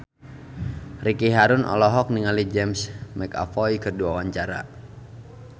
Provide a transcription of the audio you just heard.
Ricky Harun olohok ningali James McAvoy keur diwawancara